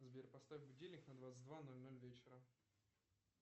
сбер поставь будильник на двадцать два ноль ноль вечера